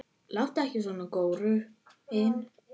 Láttu ekki svona, góurinn